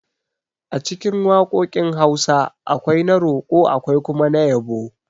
Acikin waƙoƙin Hausa, akwai na roƙo akwai kuma na yabo